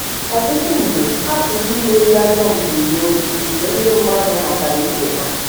Ọtụtụ mgbe, a pụrụ imeri ajọ mbunobi mgbe ndị mmadụ matara ibe ha.